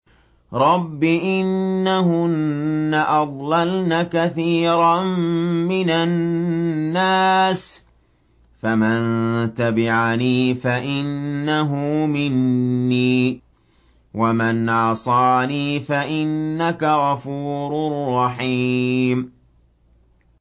رَبِّ إِنَّهُنَّ أَضْلَلْنَ كَثِيرًا مِّنَ النَّاسِ ۖ فَمَن تَبِعَنِي فَإِنَّهُ مِنِّي ۖ وَمَنْ عَصَانِي فَإِنَّكَ غَفُورٌ رَّحِيمٌ